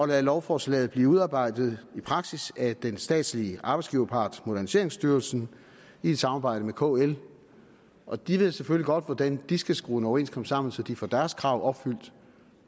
lade lovforslaget blive udarbejdet i praksis af den statslige arbejdsgiverpart moderniseringsstyrelsen i et samarbejde med kl og de ved selvfølgelig godt hvordan de skal skrue en overenskomst sammen så de får deres krav opfyldt